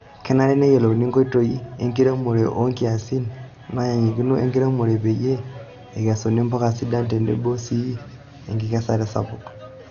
Kenare neyiolouni nkoitoi enkiremore oo nkiasin nanyikakino enkiremore peyie eikesuni mpuka sidain tenebo sii enkikesare sapuk.